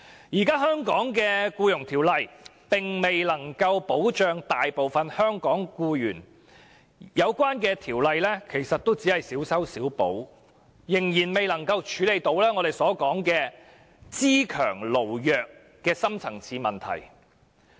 現行的《僱傭條例》並未能夠保障大部分香港僱員，《條例草案》的修訂也只是小修小補，仍然未能處理"資強勞弱"的深層次問題。